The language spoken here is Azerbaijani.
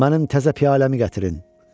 Mənim təzə piyaləmi gətirin.